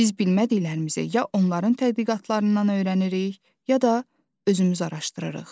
Biz bilmədiklərimizi ya onların tədqiqatlarından öyrənirik, ya da özümüz araşdırırıq.